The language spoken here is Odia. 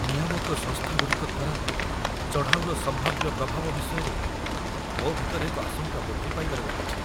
ନିୟାମକ ସଂସ୍ଥାଗୁଡ଼ିକ ଦ୍ୱାରା ଚଢ଼ାଉର ସମ୍ଭାବ୍ୟ ପ୍ରଭାବ ବିଷୟରେ ମୋ ଭିତରେ ଏକ ଆଶଙ୍କା ବୃଦ୍ଧି ପାଇବାରେ ଲାଗିଛି।